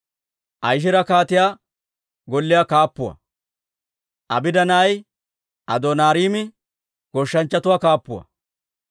Ahishaari kaatiyaa golliyaa kaappuwaa; Abdda na'ay Adooniraami goshshanchchatuwaa kaappuwaa.